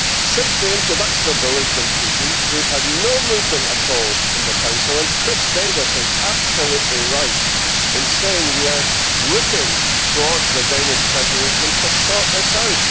Since the introduction of the Lisbon Treaty we have had no movement at all from the Council, and Chris Davies is absolutely right in saying we are looking to the Danish Presidency to sort this out.